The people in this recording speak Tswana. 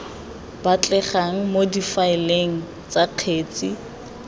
batlegang mo difaeleng tsa kgetse